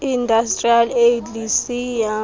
industrial age lisiya